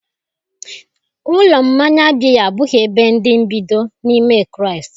Ụlọ mmanya biya abụghị ebe ndị mbido n'ime Kraịst